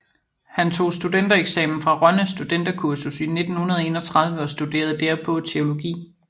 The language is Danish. Han tog studentereksamen fra Rønde Studenterkursus i 1931 og studerede derpå teologi